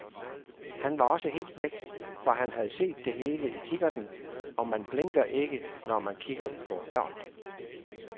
Han var også helt væk, for han havde set det hele i kikkerten, og man blinker ikke, når man kigger på ørn.